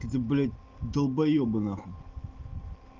этиблядь далбоёбы нахуй